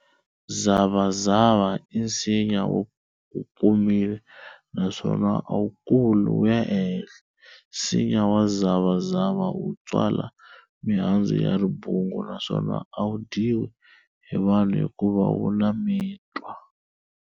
Zavazava i nsinya wo komile, naswona a wukuli wuya e henhla. Nsinya wa zavazava wu tswala mihandzu ya ribungu naswona a wu dyiwi hi vanhu hikuva wu na mitwa.